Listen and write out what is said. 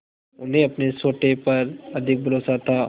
उन्हें अपने सोटे पर अधिक भरोसा था